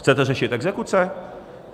Chcete řešit exekuce?